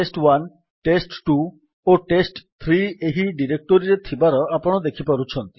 test1ଟେଷ୍ଟ2 ଓ ଟେଷ୍ଟ3 ଏହି ଡିରେକ୍ଟୋରୀରେ ଥିବାର ଆପଣ ଦେଖିପାରୁଛନ୍ତି